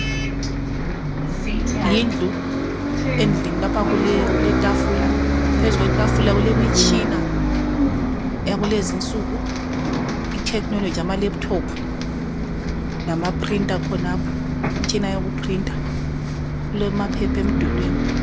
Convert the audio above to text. Yindlu, endlini lapha kulekuletafula, phezu kwetafula kulemitshina yakulezinsuku i technology amalaptop lama printa khonapho imtshina yokuprinta kulamaphephemdulini.